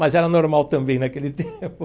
Mas era normal também naquele tempo.